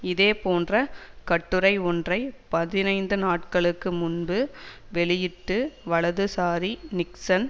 இதேபோன்ற கட்டுரை ஒன்றை பதினைந்து நாட்களுக்கு முன்பு வெளியிட்டு வலதுசாரி நிக்சன்